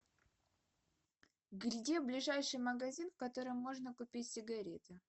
где ближайший магазин в котором можно купить сигареты